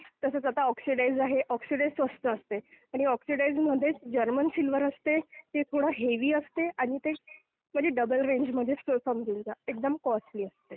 तसंच आता ऑक्सिडाईज्ड आहे, ऑक्सिडाईज्ड स्वस्त असते आणि ऑक्सिडाईज्डमध्ये जर्मन सिल्वर असते ते थोडं हेवी असते आणि ते कधी डबल रेंजमध्येच समजून जा एकदम कॉस्टली असते.